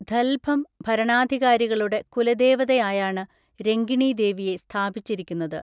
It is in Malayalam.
ധൽഭം ഭരണാധികാരികളുടെ കുലദേവതയായാണ് രങ്കിണി ദേവിയെ സ്ഥാപിച്ചിരിക്കുന്നത്.